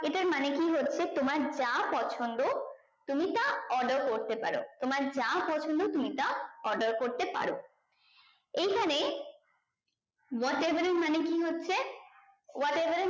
এটার মানে কি হচ্ছে তোমার যা পছন্দ তুমি তা order করতে পারো তোমার যা পছন্দ তুমি তা order করতে পারো এই খানে what ever এর মানে কি হচ্ছে what ever